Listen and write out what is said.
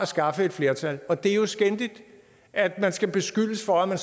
skaffe et flertal og det er jo skændigt at man skal beskyldes for at